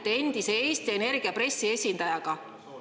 Te räägite Eesti Energia endise pressiesindajaga.